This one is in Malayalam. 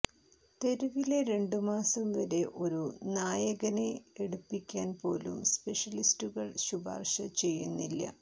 തെരുവിലെ രണ്ടുമാസം വരെ ഒരു നായകനെ എടുപ്പിക്കാൻ പോലും സ്പെഷ്യലിസ്റ്റുകൾ ശുപാർശ ചെയ്യുന്നില്ല